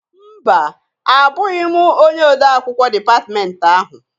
Mba! Abụghị m onye ode akwụkwọ dịpatmenti ahụ.